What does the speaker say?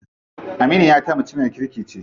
Aminiyata mutumiyar kirki ce.